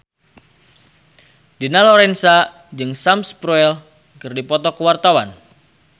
Dina Lorenza jeung Sam Spruell keur dipoto ku wartawan